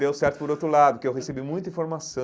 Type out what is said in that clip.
Deu certo por outro lado, porque eu recebi muita informação.